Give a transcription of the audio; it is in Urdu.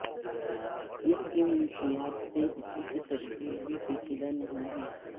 اس منشیات سے اسی کی تشکیل بھی پیچیدہ نہیں ہے